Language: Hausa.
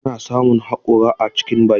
Ana samun haƙora a cikin baki.